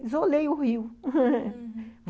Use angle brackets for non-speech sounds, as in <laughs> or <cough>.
Isolei o Rio <laughs>